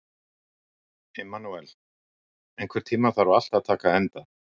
Immanúel, einhvern tímann þarf allt að taka enda.